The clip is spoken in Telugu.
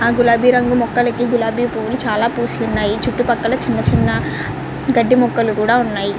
గులాబీ రంగు మొక్కలకి గులాబీ పువ్వులు చాలా పూస్తున్నాయి. చుట్టుపక్కల చిన్న చిన్న గడ్డి మొక్కలు కూడా ఉన్నాయి.